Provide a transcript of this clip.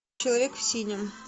человек в синем